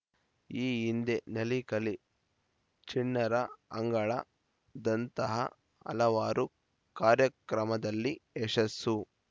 ಈ ಹಿಂದೆ ನಲಿಕಲಿ ಚಿಣ್ಣರ ಅಂಗಳ ದಂತಹ ಹಲವಾರು ಕಾರ್ಯಕ್ರಮದಲ್ಲಿ ಯಶಸ್ಸು